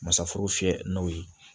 Masaforo fiyɛ n'o ye